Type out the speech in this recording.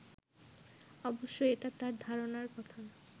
অবশ্য এটা তার ধারণার কথা